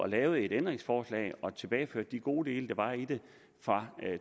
lavede et ændringsforslag og tilbageførte de gode dele som var i det fra